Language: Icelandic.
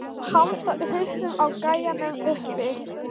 Og halda hausnum á gæjanum uppi!